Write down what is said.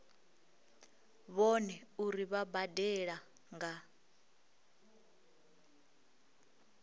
vhone uri vha badela nga